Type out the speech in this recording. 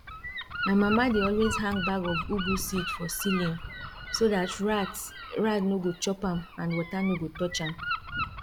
my mama dey always hang bag of ugu seed for ceiling so dat rat rat nor go chop am and water nor go touch am